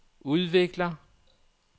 udvikler